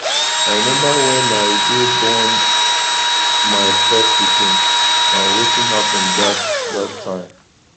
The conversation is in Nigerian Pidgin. i remember wen i dey born my first pikin and wetin happen dat dat time